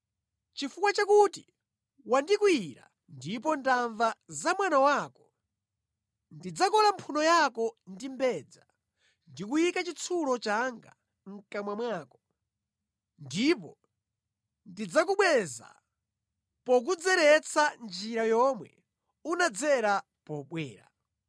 Chifukwa chakuti wandikwiyira ndipo ndamva za mwano wako, ndidzakola mphuno yako ndi mbedza ndi kuyika chitsulo changa mʼkamwa mwako, ndipo ndidzakubweza pokudzeretsa njira yomwe unadzera pobwera.’